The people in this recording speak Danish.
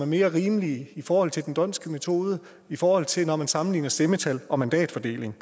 mere rimelige i forhold til den dhondtske metode i forhold til når man sammenligner stemmetal og mandatfordeling